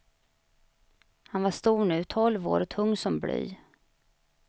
Han var stor nu, tolv år och tung som bly.